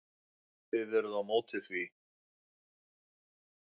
Þið eruð á móti því?